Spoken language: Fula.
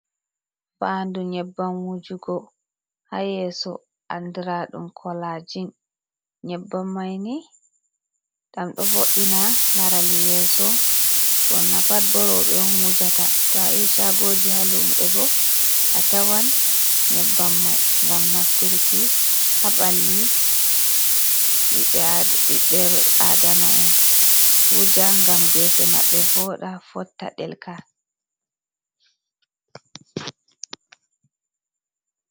Faandu nyebbam wujugo haa yeeso, anndiraɗum kolaajin, nyebbam may ni ɗam ɗo vo’ina laral yeeso, ɓurna pat boo rooɓe on wujata. to a yahi caagoji haa luuɓe bo a tawan nyebbam may ngam nafturki haa ɓalli ɓiɓɓe aadama'en wuja ngam geese maɓɓe vooɗa, fotta, delka.